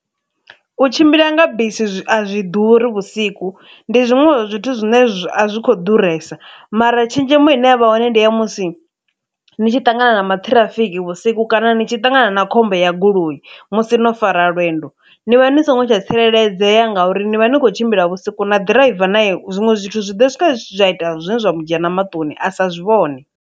U tshimbila nga bisi a zwi ḓuri vhusiku, ndi zwiṅwe zwithu zwine a zwi khou ḓuresa, mara tshenzhemo ine ya vha hone ndi ya musi ni tshi ṱangana na maṱhirafiki vhusiku kana ni tshi ṱangana na khombo ya goloi musi no fara lwendo, ni vha ni songo tsha tsireledzea ngauri ni vha ni khou tshimbila vhusiku, na ḓiraiva nae zwiṅwe zwithu zwi ḓo swika zwa ita zwine zwa mu dzhena maṱoni a sa zwi vhone.